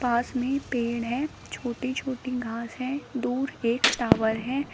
पास में पेड़ है छोटे छोटे घास है दूर एक टॉवर है।